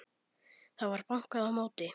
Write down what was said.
Það var bankað á móti.